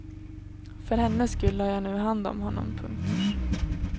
För hennes skull har jag nu hand om honom. punkt